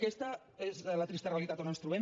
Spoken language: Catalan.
aquesta és la trista realitat on ens trobem